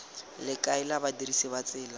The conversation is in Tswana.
le kaela badirisi ba tsela